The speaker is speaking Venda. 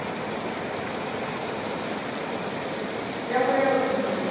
yavho ya u ḓi ṅwalisa